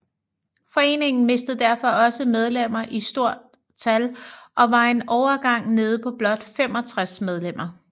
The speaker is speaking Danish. Foreningen mistede derfor også medlemmer i stort tal og var en overgang nede på blot 65 medlemmer